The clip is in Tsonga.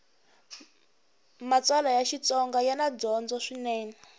matsalwa ya xitsonga yana dyondzo swinene